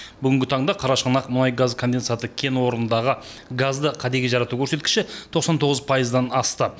бүгінгі таңда қарашығанақ мұнай газ конденсаты кен орнындағы газды кәдеге жарату көрсеткіші тоқсан тоғыз пайыздан асты